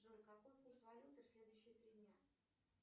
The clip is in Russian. джой какой курс валюты в следующие три дня